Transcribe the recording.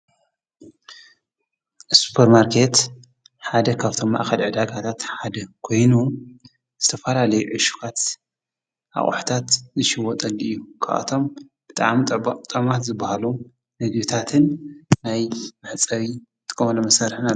ሱጰርማርከት ሓደ ኻብቶም ማኣኸላ ዕዳጋታት ሓደ ኮይኑ ዝተፈለላዩ ዕሽዋት ኣብ ዋሕታት ዝሽወጠሉ እዩ። ከኣቶም ብጥኣምጠማት ዝበሃሉ ምግቢታትን ናይ መሕጸዊ ጥመለ መሠርሐና እዩ።